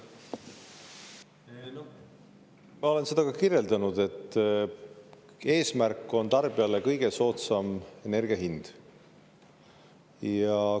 Ma olen seda kirjeldanud, et eesmärk on tarbijale kõige soodsam energia hind.